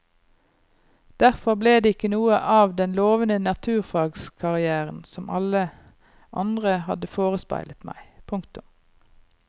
Derfor ble det ikke noe av den lovende naturfagskarrieren som alle andre hadde forespeilet meg. punktum